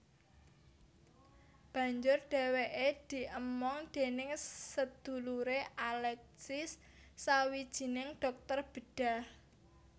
Banjur dheweke diemong déning sedulure Alexis sawijining dhokter bedhah